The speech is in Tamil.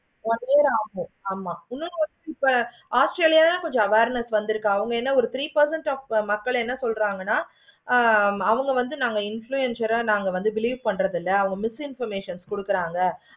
ஆமா இப்போ australia கொஞ்சம் awareness ஒரு three percent of மக்கள் என்ன சொல்றாங்கன்னா? ஆஹ் அவங்க வந்து influencer ஆஹ் நீங்க வந்து release பண்றது இல்ல information கொடுக்குறாங்க.